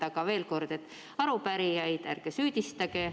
Aga veel kord: ärge arupärijaid süüdistage.